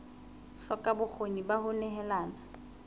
hloka bokgoni ba ho nehelana